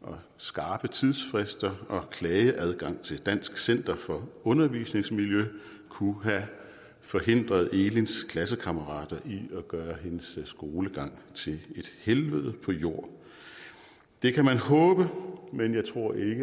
og skarpe tidsfrister og klageadgang til dansk center for undervisningsmiljø kunne have forhindret elins klassekammerater i at gøre hendes skolegang til et helvede på jord det kan man håbe men jeg tror ikke at